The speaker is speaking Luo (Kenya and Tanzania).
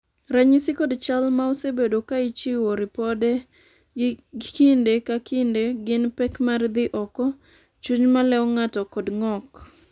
ranyisi kod chal ma osebed ka ichiwo ripode gi kinde ka kinde gin pek mar dhi oko, chuny maleo ng'ato kod ng'ok